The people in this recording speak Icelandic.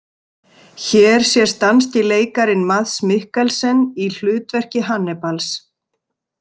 Hér sést danski leikarinn Mads Mikkelsen í hlutverki Hannibals.